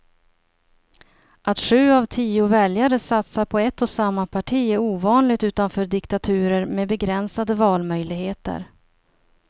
Att sju av tio väljare satsar på ett och samma parti är ovanligt utanför diktaturer med begränsade valmöjligheter.